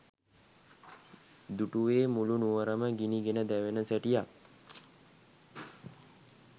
දුටුවේ මුළු නුවරම ගිනි ගෙන දැවෙන සැටියක්